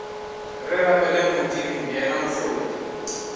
re rapeleng modimo yena mohlodi